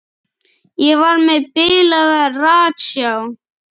Ég var með bilaða ratsjá.